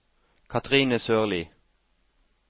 Cathrine Sørlie